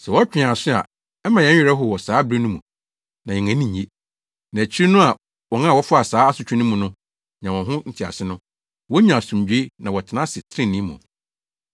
Sɛ wɔtwe yɛn aso a ɛma yɛn werɛ how wɔ saa bere no mu na yɛn ani nnye. Na akyiri no a wɔn a wɔfa saa asotwe no mu no nya wɔn ho ntease no, wonya asomdwoe na wɔtena ase trenee mu.